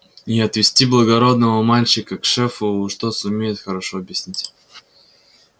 и отвести благородного мальчика к шефу уж тот сумеет хорошо объяснить